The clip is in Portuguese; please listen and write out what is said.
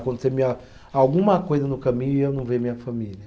Acontecer minha, alguma coisa no caminho e eu não ver minha família.